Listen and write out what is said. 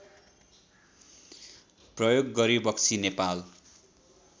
प्रयोग गरिबक्सी नेपाल